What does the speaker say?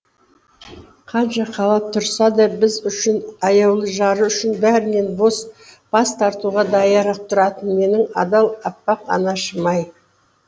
қанша қалап тұрса да біз үшін аяулы жары үшін бәрінен бас тартуға даяр ақ тұратын менің адал аппақ анашым ай